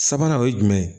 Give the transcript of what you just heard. Sabanan o ye jumɛn ye